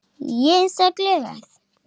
Ég er svo glöð.